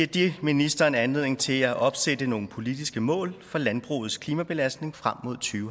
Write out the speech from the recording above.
det ministeren anledning til at opsætte nogle politiske mål for landbrugets klimabelastning frem